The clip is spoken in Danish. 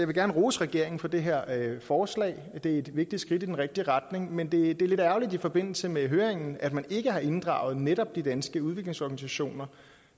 gerne rose regeringen for det her forslag det er et vigtigt skridt i den rigtige retning men det er lidt ærgerligt i forbindelse med høringen at man ikke har inddraget netop de danske udviklingsorganisationer